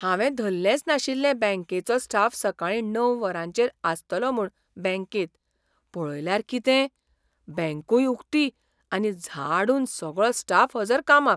हावें धल्लेंच नाशिल्लें बँकेचो स्टाफ सकाळीं णव वरांचेर आसतलो म्हूण बँकेंत. पळयल्यार किते? बँकूय उक्ती आनी झाडून सगळो स्टाफ हजर कामाक!